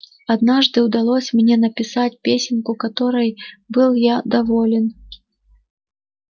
однажды удалось мне написать песенку которой был я доволен